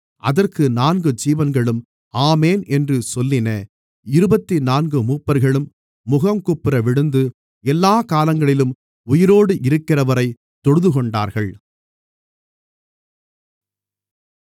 அதற்கு நான்கு ஜீவன்களும் ஆமென் என்று சொல்லின இருபத்துநான்கு மூப்பர்களும் முகங்குப்புறவிழுந்து எல்லாக் காலங்களிலும் உயிரோடு இருக்கிறவரைத் தொழுதுகொண்டார்கள்